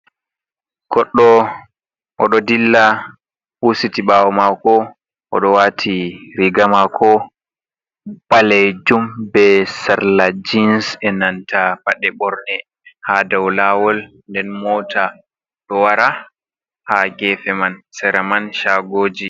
Goɗɗo, o dyo dilla huusiti ɓaawo maako o do waiti riiga maako baleejum bee sarla jiins e nanta paɗe ɓorne hay dow laawol nden moota ɗo wara haa geefe man, sera man shagooji.